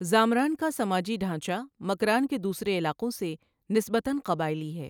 زامران کا سماجی ڈھانچہ مکران کے دوسرے علاقوں سے نسبتا قبائلی ہے۔